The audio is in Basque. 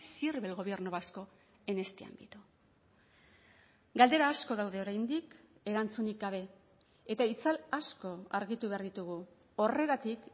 sirve el gobierno vasco en este ámbito galdera asko daude oraindik erantzunik gabe eta itzal asko argitu behar ditugu horregatik